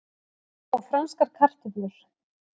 Og franskar kartöflur.